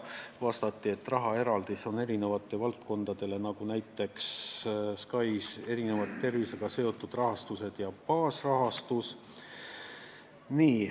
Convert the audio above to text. Vastati, et rahaeraldis läheb erinevatele valdkondadele, nagu näiteks SKAIS-ile, millele lisanduvad tervisega seotud rahastused ja baasrahastus.